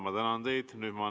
Ma tänan teid!